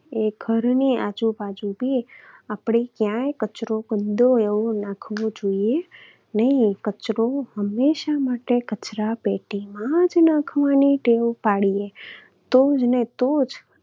એ ઘરની આજુબાજુ આપણે ક્યાંય કચરો ગંદો એવો નાખવો જોઈએ નહિ. કચરો હંમેશા માટે કચરાપેટીમાં જ નાખવાની ટેવ પાડીએ.